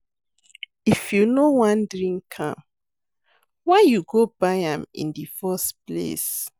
If you no wan drink why you go buy am in the first place